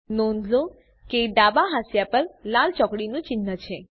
નોંધ લો કે ડાબા હાંસિયા પર લાલ ચોકડીનું ચિન્હ છે